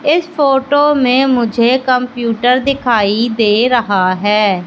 इस फोटो में मुझे कंप्यूटर दिखाई दे रहा है।